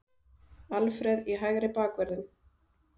Alfreð í hægri bakvörðinn?